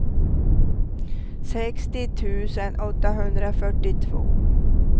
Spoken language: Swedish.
sextio tusen åttahundrafyrtiotvå